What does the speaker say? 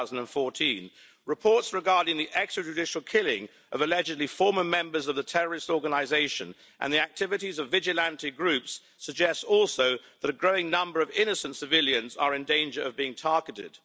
2014. Reports regarding the extrajudicial killing of allegedly former members of the terrorist organisation and the activities of vigilante groups suggests also that a growing number of innocent civilians are in danger of being targeted.